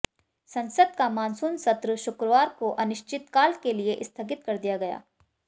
संसद का मानसून सत्र शुक्रवार को अनिश्चितकाल के लिए स्थगित कर दिया गया